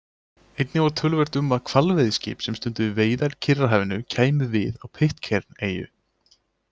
Einnig var töluvert um að hvalveiðiskip sem stunduðu veiðar í Kyrrahafi kæmu við á Pitcairn-eyju.